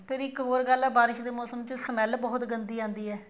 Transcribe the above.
ਫੇਰ ਇੱਕ ਹੋਰ ਗੱਲ ਹੈ ਬਾਰਿਸ਼ ਦੇ ਮੋਸਮ ਚ smell ਬਹੁਤ ਗੰਦੀ ਆਉਂਦੀ ਹੈ